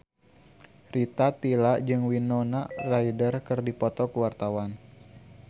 Rita Tila jeung Winona Ryder keur dipoto ku wartawan